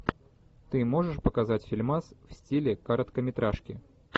ты можешь показать фильмас в стиле короткометражки